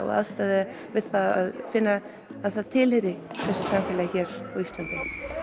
og aðstoða það við að finna að það tilheyri þessu samfélagi hér á Íslandi